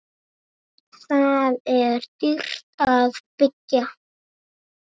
Þar er dýrt að byggja.